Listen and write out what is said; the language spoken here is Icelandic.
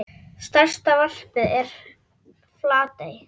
Stærsta varpið er í Flatey.